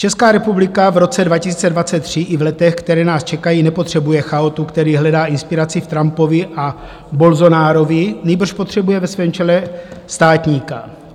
Česká republika v roce 2023 i v letech, která nás čekají, nepotřebuje chaotu, který hledá inspiraci v Trumpovi a Bolsonarovi, nýbrž potřebuje ve svém čele státníka.